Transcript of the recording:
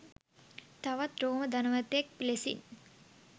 තවත් රෝම ධනවතෙක් ලෙසින්.